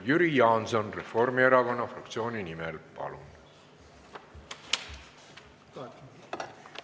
Jüri Jaanson Reformierakonna fraktsiooni nimel, palun!